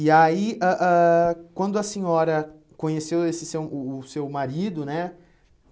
E aí, ãh ãh quando a senhora conheceu esse seu o o seu marido, né?